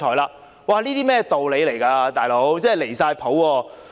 這是甚麼道理，"老兄"，真的"離晒譜"。